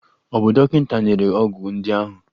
Ọ̀ bụ dọkịta nyere ọgwụ ndị ahụ?